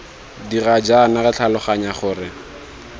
dira jaana re tlhaloganya gore